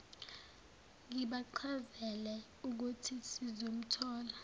ngibachazela uthe sizomthola